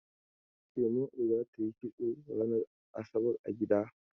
Shema'u za ta yi kisto ranar asabar a gida.